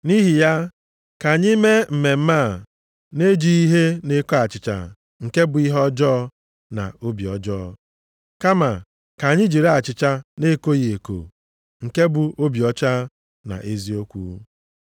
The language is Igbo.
Nʼihi ya ka anyị mee mmemme a na-ejighị ihe na-eko achịcha nke bụ ihe ọjọọ na obi ọjọọ, kama ka anyị jiri achịcha na-ekoghị eko nke bụ obi ọcha na eziokwu.